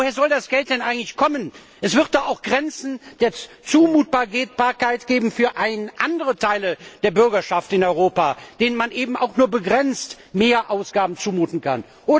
Woher soll das Geld denn eigentlich kommen? Es wird doch auch Grenzen der Zumutbarkeit geben für andere Teile der Bürgerschaft in Europa, denen man eben auch nur begrenzt mehr Ausgaben zumuten kann.